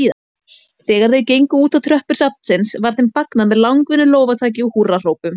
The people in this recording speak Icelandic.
Þegar þau gengu útá tröppur safnsins var þeim fagnað með langvinnu lófataki og húrrahrópum.